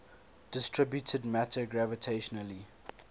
distributed matter gravitationally